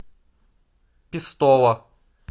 пестова